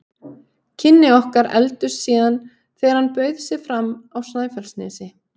Kynni okkar efldust síðan þegar hann bauð sig fram á Snæfellsnesi.